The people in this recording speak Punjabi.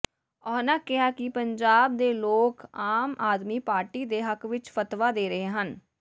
ਉਹਨਾ ਕਿਹਾ ਕਿ ਪੰਜਾਬ ਦੇ ਲੋਕ ਆਮਆਦਮੀ ਪਾਰਟੀ ਦੇ ਹੱਕ ਵਿੱਚ ਫਤਵਾ ਦੇ ਰਹੇ ਹਨ